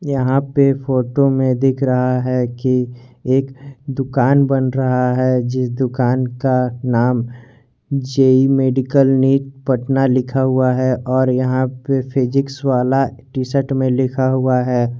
यहां पे फोटो में दिख रहा है कि एक दुकान बन रहा है जिस दुकान का नामभी जेई मेडिकल निट पटना लिखा हुआ है और यहां पे फिजिक्स वल्लाह टी शर्ट में लिखा हुआ है।